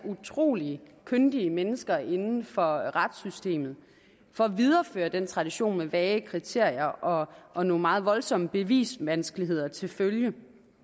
utrolig kyndige mennesker inden for retssystemet for at videreføre den her tradition med vage kriterier og og nogle meget voldsomme bevisvanskeligheder til følge